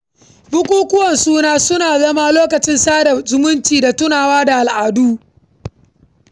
Bukukuwa suna zama lokacin sada zumunci da tunawa da al’adu.